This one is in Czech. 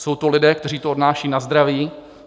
Jsou to lidé, kteří to odnáší na zdraví.